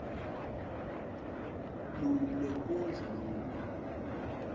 luni lwenkondlo lolu